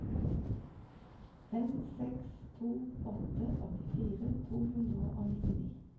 fem seks to åtte åttifire to hundre og nittini